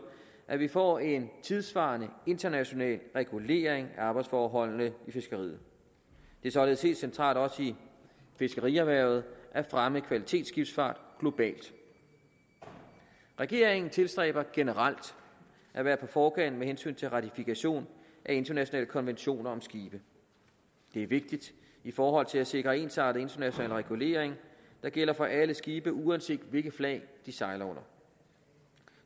at vi får en tidssvarende international regulering af arbejdsforholdene i fiskeriet det er således helt centralt også i fiskerierhvervet at fremme kvalitetsskibsfart globalt regeringen tilstræber generelt at være på forkant med hensyn til ratifikation af internationale konventioner om skibe det er vigtigt i forhold til at sikre ensartet international regulering der gælder for alle skibe uanset hvilket flag de sejler under